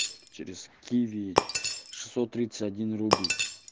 через киви шестьсот тридцать один рубль